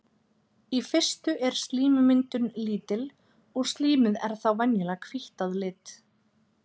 í fyrstu er slímmyndun lítil og slímið er þá venjulega hvítt að lit